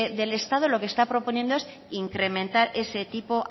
del estado lo que está proponiendo es incrementar ese tipo